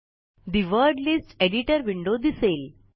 ठे word list editor window दिसेल